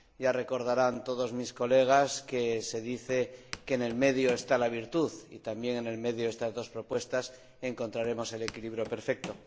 Ya recordarán todos mis colegas que se dice que en el medio está la virtud y también en el medio de estas dos propuestas encontraremos el equilibrio perfecto.